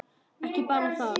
Ekki bara það.